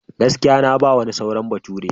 Gaskiya! Na ba wani sauran baturi.